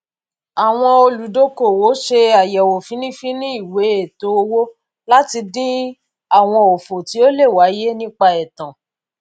àwọn olùdókòwò ṣe àyẹwò fínífíní ìwé ètò owó láti dín àwọn òfò tí ó lè wáyé nípa ètan